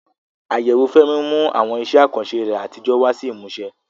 Àyẹ̀wò Fẹ́mi mú àwọn iṣẹ́ àkànṣe rẹ̀ àtijọ́ wá sí ìmúṣẹ.